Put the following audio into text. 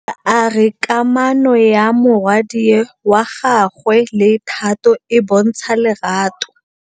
Bontle a re kamanô ya morwadi wa gagwe le Thato e bontsha lerato.